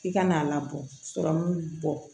I kana a labɔ sɔrɔ min bɔ